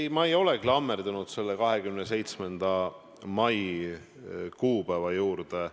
Ei, ma ei ole klammerdunud selle 27. mai kuupäeva külge.